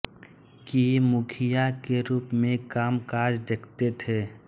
के मुखिया के रूप में कामकाज देखते थे